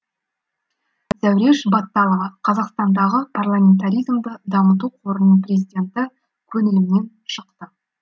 зәуреш батталова қазақстандағы парламентаризмді дамыту қорының президенті көңілімнен шықты